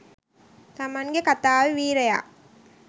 තමන්ගෙ කතාවෙ වීරයා